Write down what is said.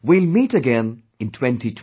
We will meet again in 2020